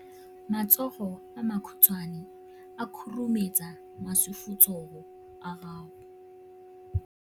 Matsogo a makhutshwane a khurumetsa masufutsogo a gago.